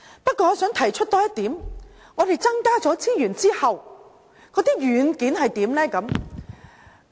不過，我想多提出一點，在增加資源後，軟件又如何呢？